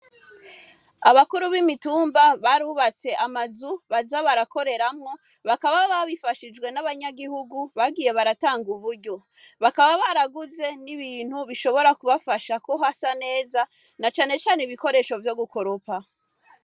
Abakuru b'imitumba barubatse amazu baza barakoreramwo bakaba babifashijwe n'abanyagihugu bagiye baratanga uburyo bakaba baraguze n'ibintu bishobora kubafashako hasa neza na canecane ibikoresho vyo gukoropa.